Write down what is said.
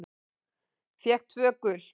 Fékk tvö gul.